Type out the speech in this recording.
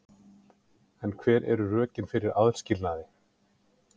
En hver eru rökin fyrir aðskilnaði?